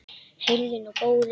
Heyrðu nú, góði!